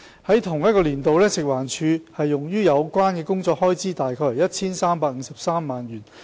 在同年度，食環署用於有關工作的開支為 1,353 萬元。